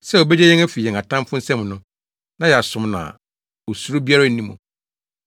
sɛ obegye yɛn afi yɛn atamfo nsam no, na yɛasom no a osuro biara nni mu.